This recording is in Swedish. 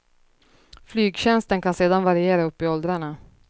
Flygtjänsten kan sedan variera upp i åldrarna.